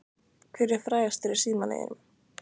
Hver er frægastur í símanum þínum?